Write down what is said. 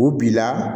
U b'i la